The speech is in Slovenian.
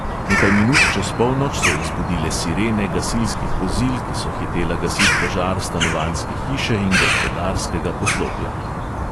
Nekaj minut čez polnoč so jih zbudile sirene gasilskih vozil, ki so hitela gasit požar stanovanjske hiše in gospodarskega poslopja.